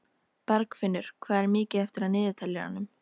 Bergfinnur, hvað er mikið eftir af niðurteljaranum?